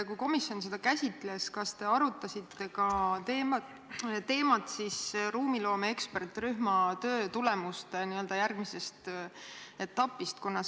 Kui komisjon seda käsitles, siis kas te arutasite ka ruumiloome eksperdirühma töötulemuste järgmise etapi teemat?